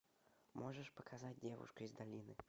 можешь показать девушка из долины